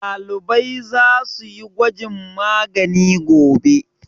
Ɗalibai za su yi gwajin magani gobe.